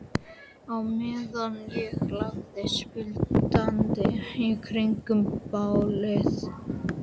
Á meðan ég læðist blindandi í kringum bálið.